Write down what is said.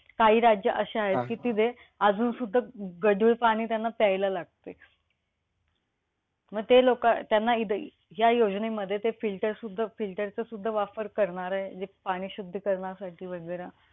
काही राज्य असे आहेत, कि तिथे अजून सुद्धा गढूळ पाणी त्यांना प्यायला लागतंय. मग ते लोकं त्यांना हि या योजनेमध्ये ते filter सुद्धा filter चा सुद्धा वापर करणार आहे? म्हणजे पाणी शुद्ध करण्यासाठी वैगेरे